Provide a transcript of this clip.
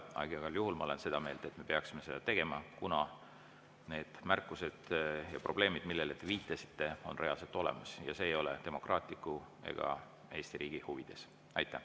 Aga igal juhul olen ma seda meelt, et me peaksime seda tegema, kuna need märkused ja probleemid, millele te viitasite, on reaalselt olemas ja see ei ole demokraatia ega Eesti riigi huvides.